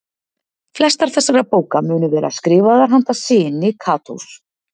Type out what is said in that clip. Flestar þessara bóka munu vera skrifaðar handa syni Katós.